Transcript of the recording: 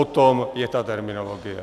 O tom je ta terminologie.